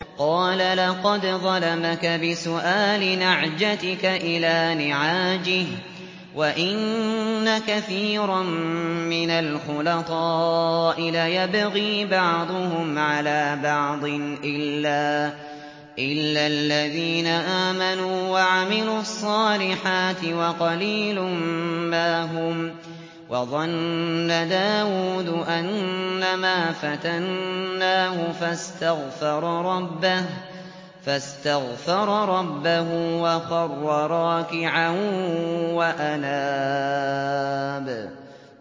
قَالَ لَقَدْ ظَلَمَكَ بِسُؤَالِ نَعْجَتِكَ إِلَىٰ نِعَاجِهِ ۖ وَإِنَّ كَثِيرًا مِّنَ الْخُلَطَاءِ لَيَبْغِي بَعْضُهُمْ عَلَىٰ بَعْضٍ إِلَّا الَّذِينَ آمَنُوا وَعَمِلُوا الصَّالِحَاتِ وَقَلِيلٌ مَّا هُمْ ۗ وَظَنَّ دَاوُودُ أَنَّمَا فَتَنَّاهُ فَاسْتَغْفَرَ رَبَّهُ وَخَرَّ رَاكِعًا وَأَنَابَ ۩